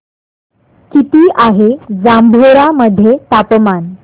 किती आहे जांभोरा मध्ये तापमान